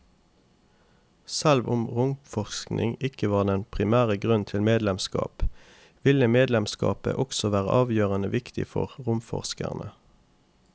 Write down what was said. Selv om romforskning ikke var den primære grunnen til medlemskap, ville medlemskapet også være avgjørende viktig for romforskerne.